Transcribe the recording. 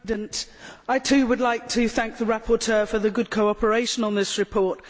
Mr President, I too would like to thank the rapporteur for the good cooperation on this report.